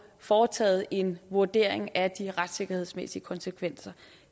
foretaget en vurdering af de retssikkerhedsmæssige konsekvenser